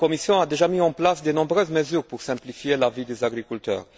elle a déjà mis en place de nombreuses mesures pour simplifier la vie des agriculteurs.